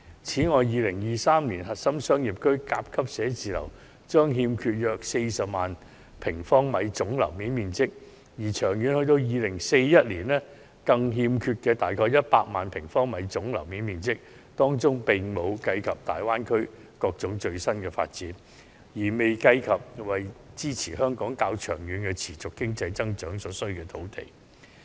此外 ，2023 年核心商業區甲級寫字樓將欠缺約40萬平方米總樓面面積，至2041年更將欠缺約100萬平方米總樓面面積，當中並未計及大灣區等各種最新發展，亦未計及為支持香港較長期的持續經濟增長所需的土地。